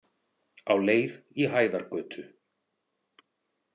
Á leið í Hæðargötu.